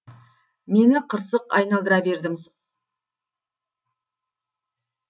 мені қырсық айналдыра берді